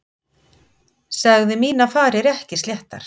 Sagði mínar farir ekki sléttar.